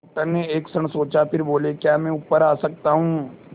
doctor ने एक क्षण सोचा फिर बोले क्या मैं ऊपर आ सकता हूँ